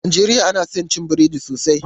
A najeriya ana son cin burodi sosai.